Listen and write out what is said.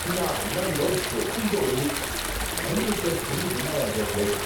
నా అన్నంలో బొద్దింక ఉంది, మళ్ళీ ఇక్కడ తిండి తినగలననుకోవట్లేదు.